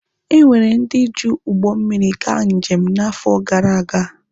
Enwere ndị ji ụgbọ mmịrị gaa njem n'afọ gara aga.